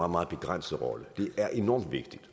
meget begrænset rolle det er enormt vigtigt